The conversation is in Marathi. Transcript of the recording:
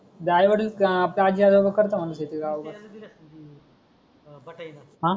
हा जे आई वडील पास झाल्या वर करतात म्हणे तिथे राहून बस याच्या याने दिल असेल ती बटाईन